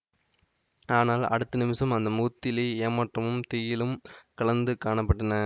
ஆனால் அடுத்த நிமிஷம் அந்த முகத்திலேயே ஏமாற்றமும் திகிலும் கலந்து காண பட்டன